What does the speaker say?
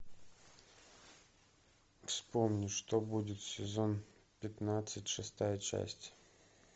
вспомни что будет сезон пятнадцать шестая часть